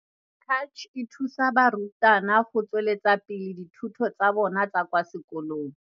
Cach e thusa barutwana go tsweletsa pele dithuto tsa bona tsa kwa sekolong.